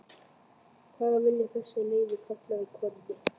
hvað vilja þessir leiðu karlar konunni?